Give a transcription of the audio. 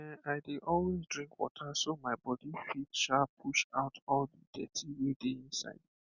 ehn i dey always drink water so my body fit um push out the dirty wey dey inside